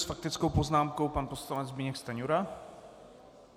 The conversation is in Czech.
S faktickou poznámkou pan poslanec Zbyněk Stanjura.